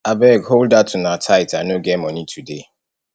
abeg hold dat una tithe i no get money today